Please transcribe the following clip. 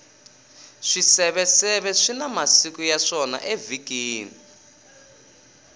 swiseveseve swina masiku ya swona evhikini